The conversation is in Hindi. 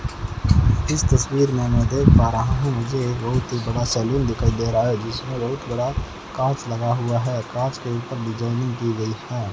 इस तस्वीर में मैं देख पा रहा हूं मुझे ए बहुत ही बड़ा सैलून दिखाई दे रहा है जिसमें बहुत बड़ा कांच लगा हुआ है कांच के ऊपर डिजाइनिंग की गई है।